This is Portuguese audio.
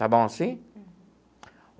Está bom assim?